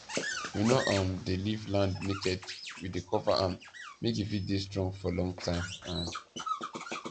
we no um dey leave land naked we dey cover am make e fit dey strong for long time um